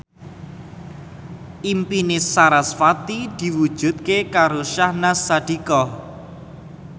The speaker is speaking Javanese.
impine sarasvati diwujudke karo Syahnaz Sadiqah